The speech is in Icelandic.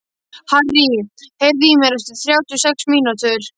Harrý, heyrðu í mér eftir þrjátíu og sex mínútur.